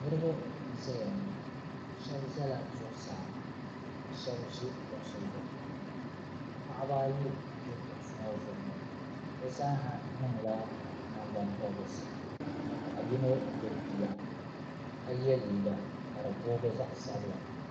niraba n ʒɛya ŋɔ shab ʒɛla zuɣusaa ka shab ʒi kuɣusi zuɣu paɣaba ayi n ʒi kuɣusi ŋɔ zuɣu ŋɔ bi zaaha niŋla nangbani pobirisi ka paɣa yino gbubi bia ka yɛ liiga ka di boogi zaɣ sabila